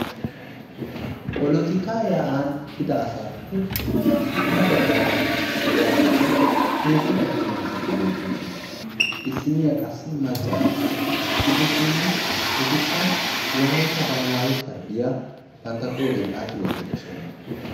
Polotikaa yaa'an uttida asaappe sintta baggaara de'iyageeti heezzu attuma asati beettoosona. Issinniya qassi maccaaro. Gidishin etikka wolaytta balaawe sharbbiya bantta qooriyan xaaxi wottidosona.